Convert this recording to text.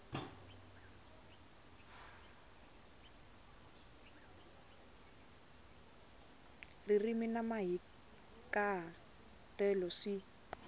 ririmi na mahikaha telo swi